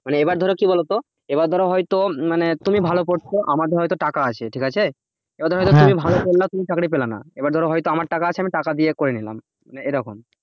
মানে এবার ধরো কি বলতো এবার ধরা হয়তো মানে তুমি ভালো পড়ছো আমাদের হয়তো টাকা আছে ঠিক আছে এবার ধর হয়তো তুমি ভালো পড়লে তুমি চাকরি পেলে না এবার ধর হয়তো আমার টাকা আছে আমি টাকা দিয়ে করে নিলাম মানে এই রকম